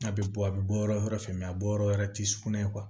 N'a bɛ bɔ a bɛ bɔ yɔrɔ wɛrɛ fɛ mɛ a bɔ yɔrɔ wɛrɛ ti sugunɛ